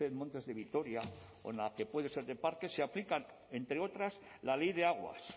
montes de vitoria o en la que puede ser de parque se aplican entre otras la ley de aguas